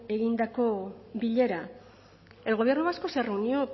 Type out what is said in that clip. egindako bilera el gobierno vasco se reunió